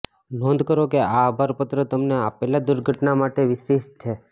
નોંધ કરો કે આ આભાર પત્ર તમને આપેલા દુર્ઘટના માટે વિશિષ્ટ છે